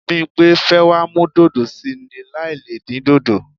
Bímpé fẹ́ wá mú dòdò sí í ni láì le dín dòdò.